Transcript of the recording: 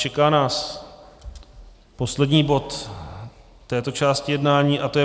Čeká nás poslední bod této části jednání a to je